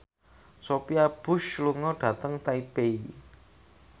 Sophia Bush lunga dhateng Taipei